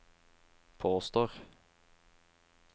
påstår